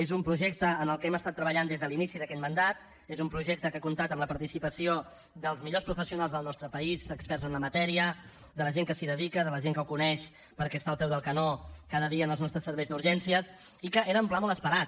és un projecte en el que hem estat treballant des de l’inici d’aquest mandat és un projecte que ha comptat amb la participació dels millors professionals del nostre país experts en la matèria de la gent que s’hi dedica de la gent que ho coneix perquè està al peu del canó cada dia en els nostres serveis d’urgències i que era un pla molt esperat